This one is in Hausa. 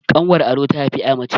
ƙanwar ado ta haifi ya mace